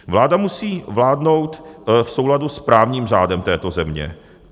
Vláda musí vládnout v souladu s právním řádem této země.